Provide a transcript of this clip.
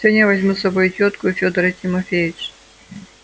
сегодня я возьму с собой тётку и федора тимофеича